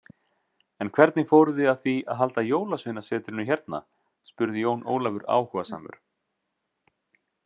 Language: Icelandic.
En hvernig fóruð þið að því halda Jólasveinasetrinu hérna spurði Jón Ólafur áhugasamur.